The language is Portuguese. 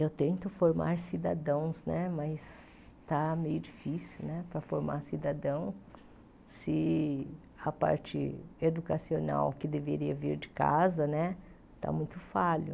Eu tento formar cidadãos né, mas está meio difícil para formar cidadão se a parte educacional que deveria vir de casa né está muito falha.